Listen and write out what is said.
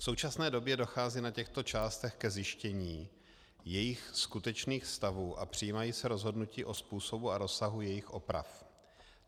V současné době dochází na těchto částech ke zjištění jejich skutečných stavů a přijímají se rozhodnutí o způsobu a rozsahu jejich oprav.